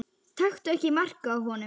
Taktu ekki mark á honum.